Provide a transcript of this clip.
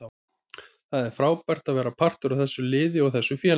Það er frábært að vera partur af þessu liði og þessu félagi.